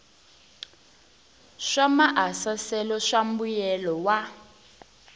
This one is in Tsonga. swa maasesele swa mbuyelo wa